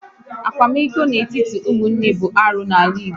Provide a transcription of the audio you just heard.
Akwamiko n'etiti ụmụnne bụ arụ n'ala Igbo